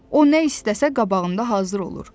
O nə istəsə qabağında hazır olur.